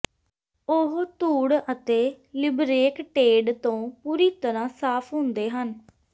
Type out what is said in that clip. ਉਹ ਧੂੜ ਅਤੇ ਲਿਬਰੇਕਟੇਡ ਤੋਂ ਪੂਰੀ ਤਰ੍ਹਾਂ ਸਾਫ ਹੁੰਦੇ ਹਨ